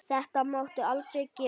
Þetta máttu aldrei gera.